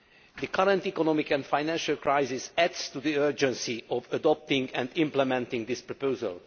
The current economic and financial crisis adds to the urgency of adopting and implementing this proposal.